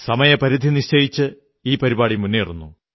സമയപരിധി നിശ്ചയിച്ച് മുന്നേറുന്നു